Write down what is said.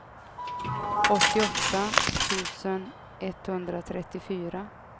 åttioåtta tusen etthundratrettiofyra